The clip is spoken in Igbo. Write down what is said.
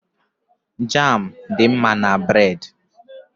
Jám dị mma na bréd